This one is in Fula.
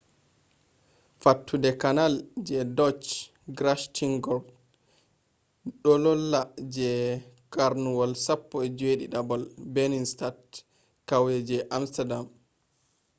fattude canal je dutch: grachtengordel do lolla je karnuwol 17th binnenstad kauye je amsterdam